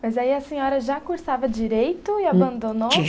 Mas aí a senhora já cursava direito e abandonou?